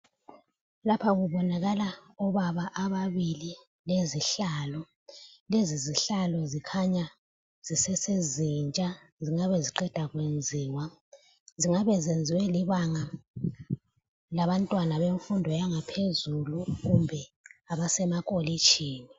Lapho kubonakala obaba ababili lezihlalo .Lezi zihlalo zikhanya zisesezintsha zingabe ziqedwa kuyenziwa. Zingabe ziyenziwe libanga labantwana bemfundo yangaphezulu kumbe abasemakolitshini.